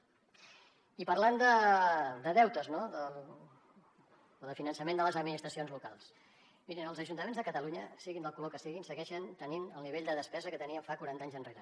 i parlant de deutes no o del finançament de les administracions locals mirin els ajuntaments de catalunya siguin del color que siguin segueixen tenint el nivell de despesa que tenien fa quaranta anys enrere